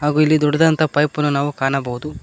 ಹಾಗು ಇಲ್ಲಿ ದೊಡ್ಡದಾಂತ ಪೈಪನ್ನು ನಾವು ಕಾಣಬಹುದು.